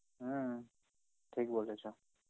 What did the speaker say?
হম , ঠিক বলেছ.